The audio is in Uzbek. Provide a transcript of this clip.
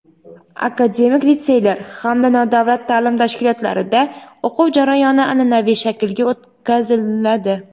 akademik litseylar hamda nodavlat taʼlim tashkilotlarida o‘quv jarayoni anʼanaviy shaklga o‘tkaziladi.